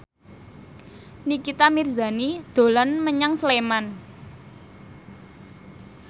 Nikita Mirzani dolan menyang Sleman